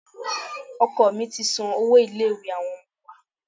Oko mí ti san owó ilé-ìwé àwọn ọmọ wa.